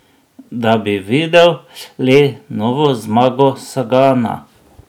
Da bi videl le novo zmago Sagana?